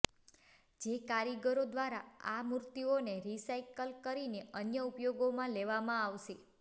જે કારીગરો દ્વારા આ મૂર્તિઓને રિસાયકલ કરીને અન્ય ઉપયોગમાં લેવામાં આવશે